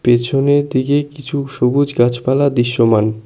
পেছনের দিকে কিছু সবুজ গাছপালা দৃশ্যমান।